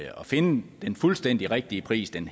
finde den fuldstændig rigtige pris den